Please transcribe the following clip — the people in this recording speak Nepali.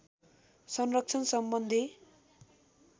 संरक्षण सम्बन्धी